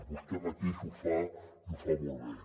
vostè mateix ho fa i ho fa molt bé